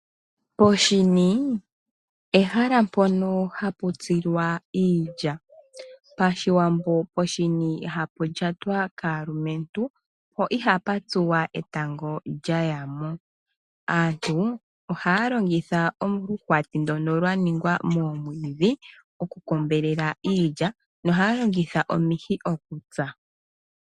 Poshini ehala mpono ha pu tsilwa iilya. PaShiwambo poshini ihapu lyatwa kaalumentu, po iha pu tsuwa etango lya lya yamo. Aantu ohaya longithwa oluhwati ndono lwaningwa momwiidhi okukombelela iilya nohaya longitha omihi okutsa.